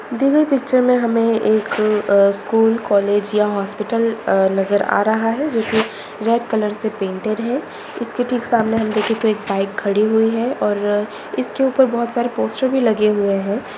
दी गई पिक्चर मे हमे एक आ स्कूल कॉलेज या हॉस्पिटल आ नजर आ रहा है जोकि रेड कलर से पेंटेड है| इसके ठीक सामने हम देखे तो एक बाइक खड़ी हुई है और इसके ऊपर बोहत सारे पोस्टर भी लगे हुए है।